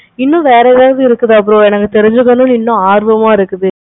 இன்னு வேற ஏதாவது இருக்குதா bro எனக்கு தெரிஞ்சிக்கணும் இன்னு ஆர்வமா இருக்கு bro